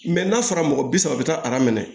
n'a fɔra mɔgɔ bi saba bi taa aran minɛ